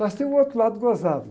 Mas tem um outro lado gozado.